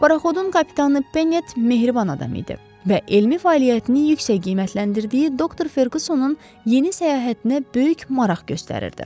Paraxodun kapitanı Penet mehriban adam idi və elmi fəaliyyətini yüksək qiymətləndirdiyi doktor Ferqüssonun yeni səyahətinə böyük maraq göstərirdi.